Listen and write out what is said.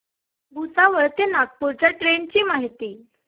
भुसावळ ते नागपूर च्या ट्रेन ची माहिती